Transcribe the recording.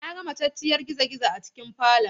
Na ga matacciyar gizogizo a cikin falon.